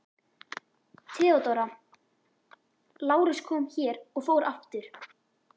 THEODÓRA: Lárus kom hér og fór aftur.